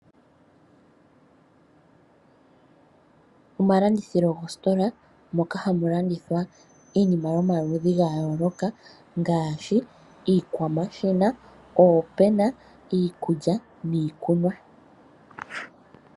Omalanditho goositola moka hamu landithwa iinima yomaludhi ga yooloka ngaashi iikwamashina, oopena, iikulya niikunwa.